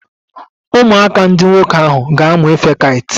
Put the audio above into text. Ụmụaka ndị nwoke ahụ ga-amụ ife kait.